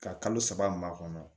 Ka kalo saba maa kɔnɔ